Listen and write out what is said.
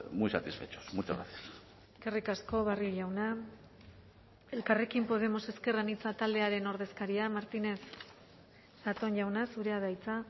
muy satisfechos muchas gracias eskerrik asko barrio jauna elkarrekin podemos ezker anitza taldearen ordezkaria martínez zatón jauna zurea da hitza